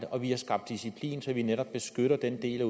og vi har skabt disciplin så vi netop beskytter den del